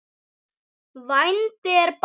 Vændi er bannað.